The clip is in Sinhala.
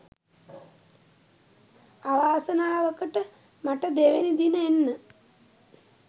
අවසානවකට මට දෙවැනි දින එන්න